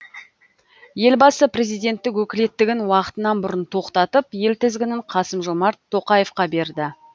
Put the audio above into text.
елбасы президенттік өкілеттігін уақытынан бұрын тоқтатып ел тізгінін қасым жомарт тоқаевқа берді